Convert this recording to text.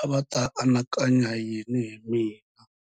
a va ta anakanya yini hi mina.